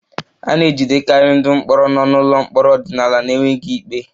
A na-ejidekarị ndị mkpọrọ nọ n'ụlọ mkpọrọ ọdịnala n'enweghị ikpe